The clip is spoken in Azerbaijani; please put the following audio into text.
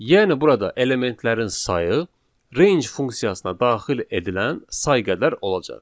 Yəni burada elementlərin sayı range funksiyasına daxil edilən say qədər olacaq.